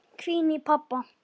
hvín í pabba.